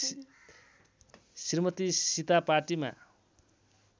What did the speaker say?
श्रीमती सिता पार्टीमा